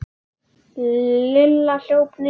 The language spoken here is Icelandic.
Lilla hljóp niður.